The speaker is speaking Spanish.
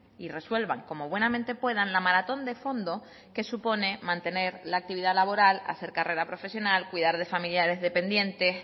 y resuelvan como buenamente puedan la maratón de fondo que supone mantener la actividad laboral hacer carrera profesional cuidad de familiares dependientes